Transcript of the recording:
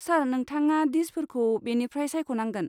सार, नोंथाङा डिसफोरखौ बेनिफ्राय सायख'नांगोन।